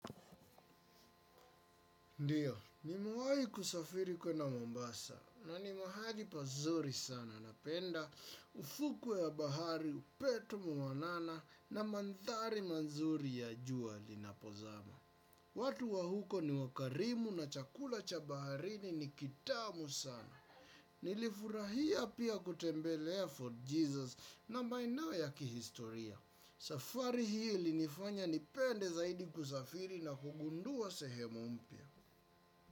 Ndiyo, nimewahi kusafiri kuenda Mombasa na ni mahali pazuri sana napenda ufuku ya bahari, upetu mwanana na mandhari manzuri ya jua lina pozama. Watu wa huko ni wakarimu na chakula cha baharini ni kitamu sana. Nilifurahia pia kutembelea fort Jesus na maeneo ya kihistoria. Safari hii ilinifanya nipende zaidi kusafiri na kugundua sehemu mpya.